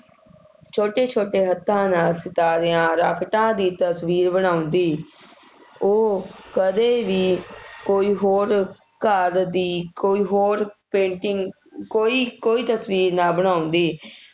ਛੋਟੇ ਛੋਟੇ ਹੱਥਾਂ ਨਾਲ ਸਿਤਾਰਿਆਂ, ਰਾਕਟਾਂ ਦੀ ਤਸਵੀਰ ਬਣਾਉਂਦੀ, ਉਹ ਕਦੇ ਵੀ ਕੋਈ ਹੋਰ ਘਰ ਦੀ ਕੋਈ ਹੋਰ painting ਕੋਈ ਕੋਈ ਤਸਵੀਰ ਨਾ ਬਣਾਉਂਦੀ,